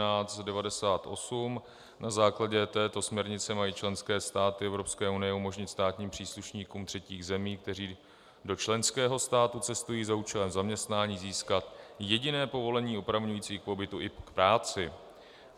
Na základě této směrnice mají členské státy Evropské unie umožnit státním příslušníkům třetích zemí, kteří do členského státu cestují za účelem zaměstnání, získat jediné povolení opravňující k pobytu i práci.